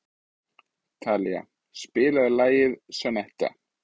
Talía, spilaðu lagið „Sonnetta“.